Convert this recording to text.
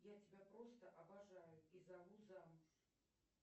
я тебя просто обожаю и зову замуж